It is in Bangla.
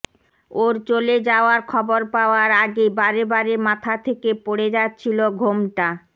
ওর চলে যাওয়ার খবর পাওয়ার আগে বারেবারে মাথা থেকে পড়ে যাচ্ছিল ঘোমটা